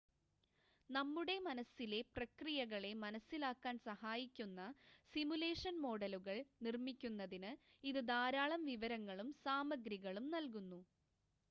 നമ്മുടെ മനസ്സിലെ പ്രക്രിയകളെ മനസ്സിലാക്കാൻ സഹായിക്കുന്ന സിമുലേഷൻ മോഡലുകൾ നിർമ്മിക്കുന്നതിന് ഇത് ധാരാളം വിവരങ്ങളും സാമഗ്രികളും നൽകുന്നു